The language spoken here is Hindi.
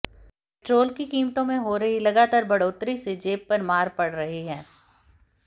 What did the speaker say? पेट्रोल की कीमतों में हो रही लगातार बढ़ोत्तरी से जेब पर मार पड़ रही है